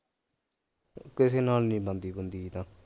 ਕਿਸੇ ਨਾਲ ਨਹੀਂ ਬਣਦੀ ਬੁਣਦੀ ਜਿਦਾਂ